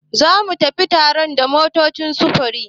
Zamu tafi taron da motocin sufuri.